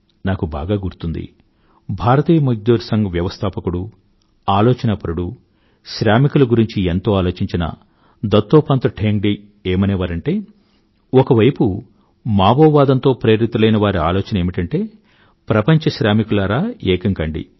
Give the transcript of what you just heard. నాకు బాగా గుర్తుంది భారతీయ మజ్దూర్ సంఘం వ్యవస్థాపకుడు ఆలోచనాపరుడు శ్రామికుల గురించి ఎంతో ఆలోచించిన దత్తోపంత్ ఠేంగ్డీ గాకె ఏమనే వారంటే ఒక వైపు మావో వాదం తో ప్రేరితులైనవారి ఆలోచన ఏమిటంటే ప్రపంచ శ్రామికులారా ఏకం కండి